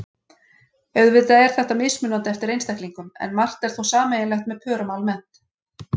Auðvitað er þetta mismunandi eftir einstaklingum en margt er þó sameiginlegt með pörum almennt.